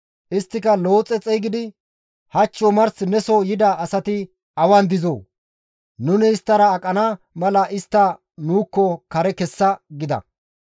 Isttika Looxe xeygidi, «Hach omars neso yida asati awan dizoo? Nuni isttara aqana mala istta nuukko kare kessa» gida.